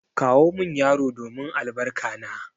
Kawo min yaro domin albarka na!